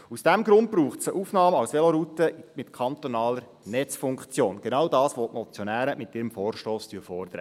Aus diesem Grund braucht es eine Aufnahme als Veloroute mit kantonaler Netzfunktion – genau das, was die Motionäre mit ihrem Vorstoss fordern.